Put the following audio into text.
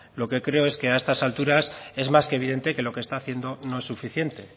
lo que creo es que a estas alturas lo que creo es que a estas alturas es más que evidente que lo que está haciendo no es suficiente